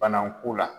Bana ko la